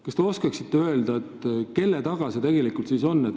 Kas te oskate öelda, kelle taga see asi tegelikult siis on?